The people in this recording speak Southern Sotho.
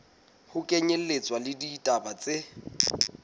ho kenyelletswa le ditaba tse